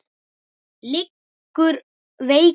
Liggur veikur undir teppi.